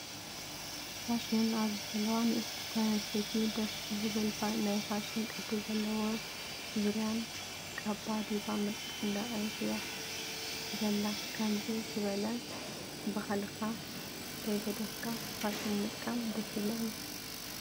ፋሽን፦ ኣብዚ ዘለዋ ንእሰቲ ጓል ኣነስተይቲ ደስ ብዝብልናይ ፋሽን ቅዲ ዘለዎ ዙርያን ካባ ዲባ ምርኢት እንዳረኣየት እያ ዘላ። ከምዙ ዝበላ ባህልካ ከይገደፍካ ፋሽን ምጥቃም ደስ ይብለኒ።